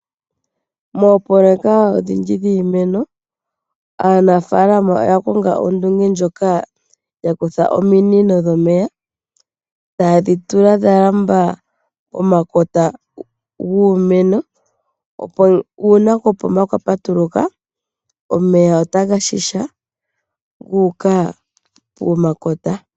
Moopololeka odhindji dhiimeno aanafalama oya konga ondunge ndjoka yakutha ominino dhomeya taadhi tula dha lamba omakota guumeno opo uuna kopomba kwapatuluka omeya otaga shisha guuka pomakota.